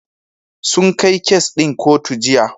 Sun kai kes ɗin kotu Jiya.